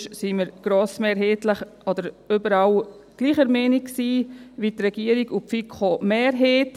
Sonst waren wir grossmehrheitlich oder überall gleicher Meinung wie die Regierung und die FiKo-Mehrheit.